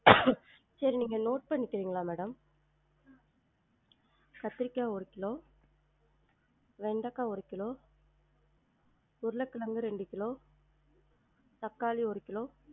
சரி நீங்க note பன்னிக்குறீங்களா madam? கத்திரிக்கா ஒரு கிலோ வெண்டக்கா ஒரு கிலோ உருளகெழங்கு ரெண்டு கிலோ தக்காளி ஒரு கிலோ